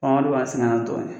o de b'an sɛgɛn na dɔɔni.